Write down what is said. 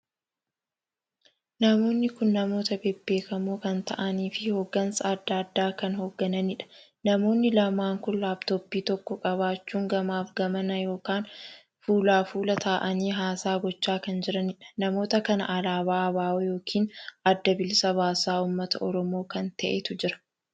Namoonni kun namoota bebbeekamoo kan ta'aaniif hoggansaa addaa addaa kan hoggananiidha. namoonni lamaan kun laaptoppii tokko qabaachuun gamaaf gamana ykn fuulaa fuula ta'aanii haasaa gochaa kan jiraniidha. namoota kan alaabaa ABO ykn adda bilisa baasaa uummata Oromoo kan taheetu jira.